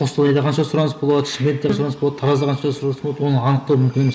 қостанайда қанша сұраныс болады шымкентте сұраныс болады таразда қанша сұраныс болады оны анықтау мүмкін емес